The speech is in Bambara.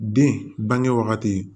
Den bange wagati